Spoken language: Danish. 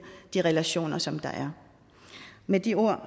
de relationer som der er med de ord